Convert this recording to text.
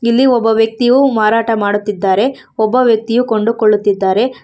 ಇಲ್ಲಿ ಒಬ್ಬ ವ್ಯಕ್ತಿಯು ಮಾರಾಟ ಮಾಡುತ್ತಿದ್ದಾರೆ ಒಬ್ಬ ವ್ಯಕ್ತಿಯು ಕೊಂಡುಕೊಳ್ಳುತ್ತಿದ್ದಾರೆ.